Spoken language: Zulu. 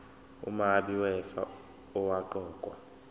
umabi wefa owaqokwa